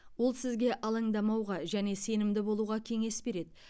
ол сізге алаңдамауға және сенімді болуға кеңес береді